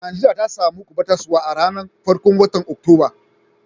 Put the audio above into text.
Nijeriya ta samu kubatarswa a'ranan farkon wotan Oktoba.